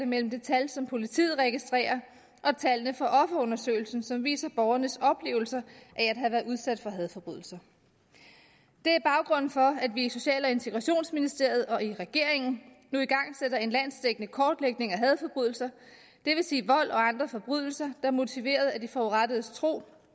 mellem det tal som politiet registrerer og tallene fra offerundersøgelsen som viser borgernes oplevelser af at have været udsat for hadforbrydelser det er baggrunden for at vi i social og integrationsministeriet og i regeringen nu igangsætter en landsdækkende kortlægning af hadforbrydelser det vil sige vold og andre forbrydelser er motiveret af de forurettedes tro